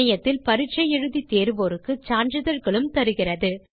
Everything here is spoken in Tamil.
இணையத்தில் பரீட்சை எழுதி தேர்வோருக்கு சான்றிதழ்களும் தருகிறது